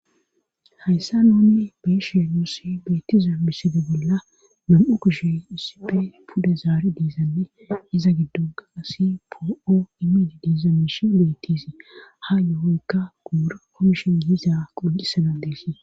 Hayssa noonne beeshiya nuosi beetiza misede bolla nam'u koshe isipe puda zaari diizanne iza giddon gaasi po'o imiidi diizamishe bettisii ha yo'oykka guura komishon giiza qoqisanan deesi